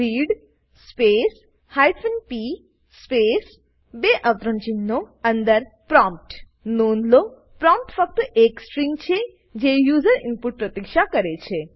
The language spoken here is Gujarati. read space hyphen p space બે અવતરણચિહ્નો અંદર પ્રોમ્પ્ટ નોંધ લો પ્રોમ્પ્ટ ફક્ત એક સ્ટ્રીંગ છેજે યુઝર ઈનપુટની પ્રતીક્ષા કરે છે